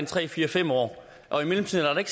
tre fire fem år og i mellemtiden er der